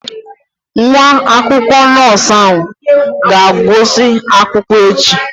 Nwa akwụkwọ nọọsụ ahụ ga-agụsị akwụkwọ echi